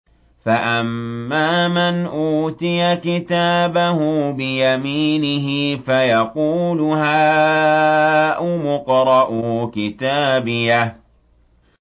فَأَمَّا مَنْ أُوتِيَ كِتَابَهُ بِيَمِينِهِ فَيَقُولُ هَاؤُمُ اقْرَءُوا كِتَابِيَهْ